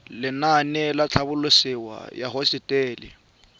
lenaane la tlhabololosewa ya hosetele